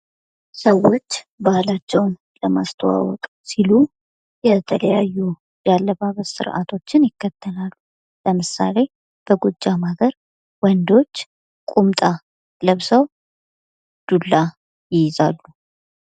ሰዎች ባህላቸውን ለማስታወቅ ሲሉ የተለያዩ ያለባበስ ስርአቶችን ይከተላሉ ለምሳሌ በጎጃም ሀገር ወንዶች ቁምጣ ለብሰው ዱላ ይይዛሉ::